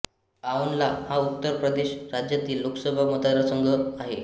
आओनला हा उत्तर प्रदेश राज्यातील लोकसभा मतदारसंघ आहे